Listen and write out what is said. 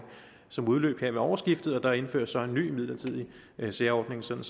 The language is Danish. som udløb her ved årsskiftet og der indføres så en ny midlertidig særordning sådan